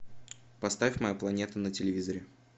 поставь моя планета на телевизоре